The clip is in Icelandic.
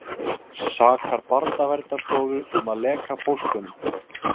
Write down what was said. Sakar Barnaverndarstofu um að leka póstunum